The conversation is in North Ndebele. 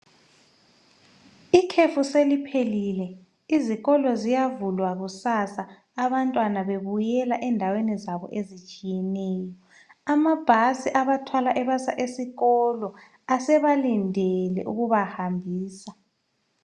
Ikhefu seliphelile, izikolo ziyavulwa kusasa abantwana bebuyela endaweni zabo ezitshiyeneyo. Amabhasi abathwala ebasa esikolo asebalindele ukubahambisa.